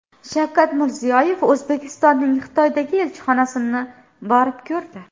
Shavkat Mirziyoyev O‘zbekistonning Xitoydagi elchixonasini borib ko‘rdi .